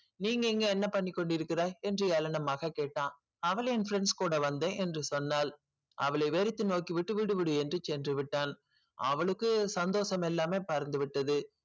நீங்க இங்க என்ன பண்ணிக் கொண்டிருக்கிறாய் என்று ஏளனமாக கேட்டான் அவள் என் friends கூட வந்தேன் என்று சொன்னாள் அவளை வெறுத்து நோக்கி விட்டு விடு விடு என்று சென்றுவிட்டான் அவளுக்கு சந்தோஷம் எல்லாமே பறந்துவிட்டது